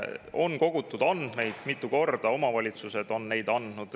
On kogutud andmeid, omavalitsused on neid mitu korda andnud.